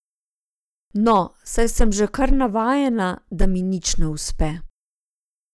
No, saj sem že kar navajena, da mi nič ne uspe.